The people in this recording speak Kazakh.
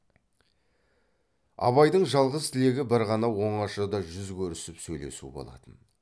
абайдың жалғыз тілегі бір ғана оңашада жүз көрісіп сөйлесу болатын